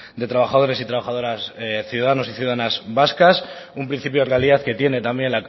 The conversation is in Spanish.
de trabajadores y trabajadoras ciudadanos y ciudadanas vascas un principio de realidad que tiene también